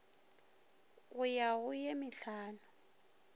go ya go ye mehlano